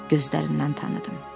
Gözlərindən tanıdım.